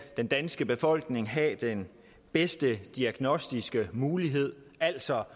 den danske befolkning have den bedste diagnostiske mulighed altså